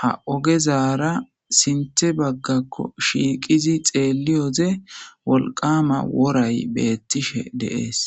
Ha oggezara sinthe baggakko shiqidi xelyodde wolqqamma woryyi bethishe dees.